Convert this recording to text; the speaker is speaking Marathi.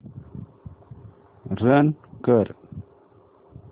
रन कर